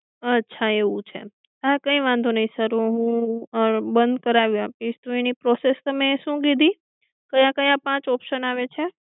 અચ્છા એવું છે હા કઈ વાંધો નઈ સર હું બંધ કરાવી આપીશ એની પ્રોસેસ તમે શું કીધિ ક્યાં ક્યાં પાંચ ઓપ્શન આવે છે?